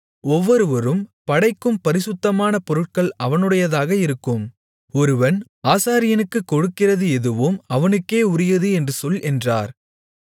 ஒவ்வொருவரும் படைக்கும் பரிசுத்தமான பொருட்கள் அவனுடையதாக இருக்கும் ஒருவன் ஆசாரியனுக்குக் கொடுக்கிறது எதுவும் அவனுக்கே உரியது என்று சொல் என்றார்